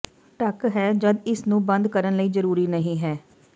ਢਕ ਹੈ ਜਦ ਇਸ ਨੂੰ ਬੰਦ ਕਰਨ ਲਈ ਜ਼ਰੂਰੀ ਨਹੀ ਹੈ